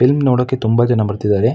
Film ನೋಡೋಕೆ ತುಂಬಾ ಜನ ಬರ್ತಿದ್ದಾರೆ.